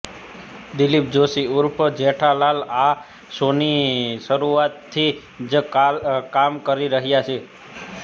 દિલીપ જોશી ઉર્ફે જેઠાલાલ આ શોની શરૂઆતથી જ કામ કરી રહ્યા છે